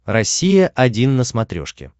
россия один на смотрешке